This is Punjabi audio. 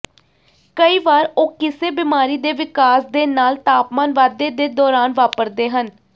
ਕਈ ਵਾਰ ਉਹ ਕਿਸੇ ਬਿਮਾਰੀ ਦੇ ਵਿਕਾਸ ਦੇ ਨਾਲ ਤਾਪਮਾਨ ਵਾਧੇ ਦੇ ਦੌਰਾਨ ਵਾਪਰਦੇ ਹਨ